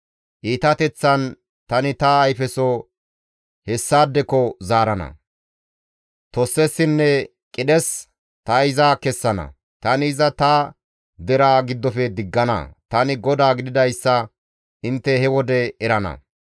Iitateththan tani ta ayfeso hessaadeko zaarana; tossessinne qidhes ta iza kessana; tani iza ta deraa giddofe diggana; tani GODAA gididayssa intte he wode erana.